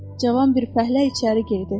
Cavan bir fəhlə içəri girdi.